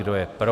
Kdo je pro?